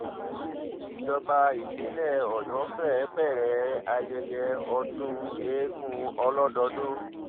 ìjọba ìpínlẹ̀ ọ̀yọ́ fẹ́ẹ́ bẹ̀rẹ̀ ayẹyẹ ọdún eegun ọlọ́dọọdún